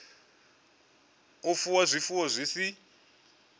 u fuwa zwifuwo zwi si